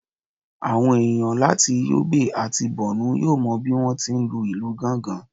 àwọn enìyan latí yobe atí Bornu yọọ mo bí wọn ti ń lu ilù Ganga